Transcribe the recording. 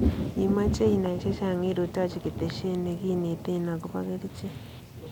Imachee inae chechang irutochii ketesiet nekinetee akopo kerichek.